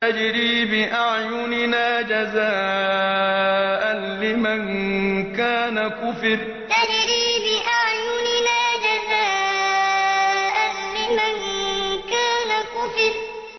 تَجْرِي بِأَعْيُنِنَا جَزَاءً لِّمَن كَانَ كُفِرَ تَجْرِي بِأَعْيُنِنَا جَزَاءً لِّمَن كَانَ كُفِرَ